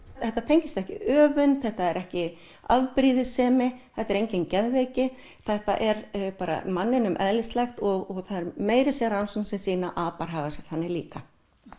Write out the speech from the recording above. þetta tengist ekki öfund þetta er ekki afbrýðissemi þetta er engin geðveiki þetta er bara manninum eðlislægt og það er meira að segja rannsókn sem sýnir að apar haga sér þannig líka